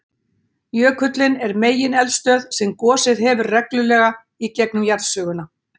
Jökullinn er megineldstöð sem gosið hefur reglulega í gegnum jarðsöguna.